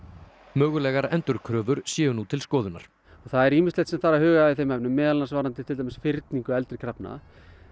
mögulegar endurkröfur séu nú til skoðunar það er ýmislegt sem þarf að huga að í þeim efnum meðal annars varðandi til dæmis fyrningu eldri krafna